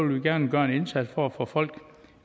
vi gerne gøre en indsats for at få folk